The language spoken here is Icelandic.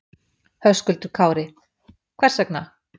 Höskuldur Kári: Hvers vegna?